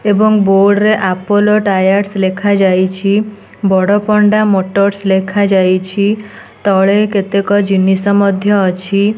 ଏବଂ ବୋଡରେ Apple Tower ଲେଖାଯାଇଛି। ବଡପଣ୍ଡା ମଟରସ ଲେଖାଯାଇଛି। ତଳେ କେତେକ ଜିନିଷ ମଧ୍ୟ ଅଛି।